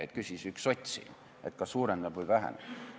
Nii küsis üks sots siin, et kas suureneb või väheneb.